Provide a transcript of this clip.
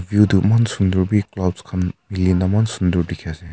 view toh maan sundur bi clouds khan maan sundur dikhiase.